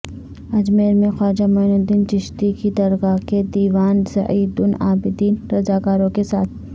اجمیر میں خواجہ معین الدین چشتی کی درگاہ کے دیوان زین العابدین رضاکاروں کے ساتھ